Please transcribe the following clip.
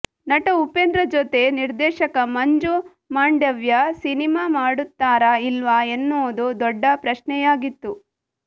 ನಟ ಉಪೇಂದ್ರ ಜೊತೆ ನಿರ್ದೇಶಕ ಮಂಜು ಮಾಂಡವ್ಯ ಸಿನಿಮಾ ಮಾಡುತ್ತಾರಾ ಇಲ್ವಾ ಎನ್ನುವುದು ದೊಡ್ಡ ಪ್ರಶ್ನೆಯಾಗಿತ್ತು